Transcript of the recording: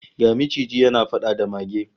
Ga maciji yana fada da mage